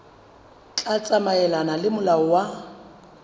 tla tsamaelana le molao wa